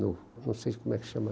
Não, não sei como é que chama.